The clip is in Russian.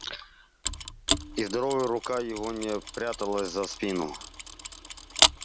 и здоровая рука его не пряталась за спину